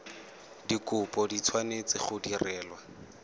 dikopo di tshwanetse go direlwa